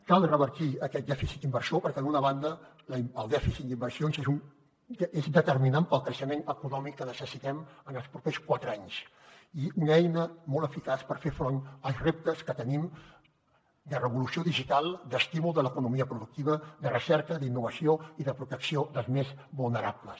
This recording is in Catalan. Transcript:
cal revertir aquest dèficit d’inversió perquè d’una banda el dèficit d’inversions és determinant per al creixement econòmic que necessitem en els propers quatre anys i una eina molt eficaç per fer front als reptes que tenim de revolució digital d’estímul de l’economia productiva de recerca d’innovació i de protecció dels més vulnerables